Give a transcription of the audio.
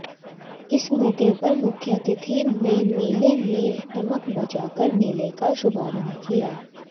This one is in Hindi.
इस मौके पर मुख्यातिथि ने मेले में टमक बजा कर मेले का शुभारंभ किया